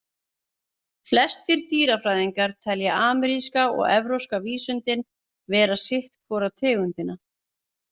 Flestir dýrafræðingar telja ameríska og evrópska vísundinn vera sitt hvora tegundina.